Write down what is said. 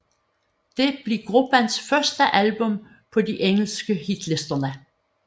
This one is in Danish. Det blev gruppens første album på de engelske hitlister